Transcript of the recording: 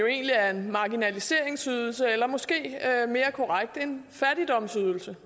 egentlig er en marginaliseringsydelse eller måske mere korrekt en fattigdomsydelse